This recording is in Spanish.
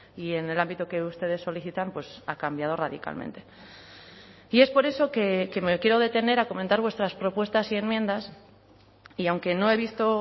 y en el ámbito que ustedes solicitan ha cambiado radicalmente y es por eso que me quiero detener a comentar vuestras propuestas y enmiendas y aunque no he visto o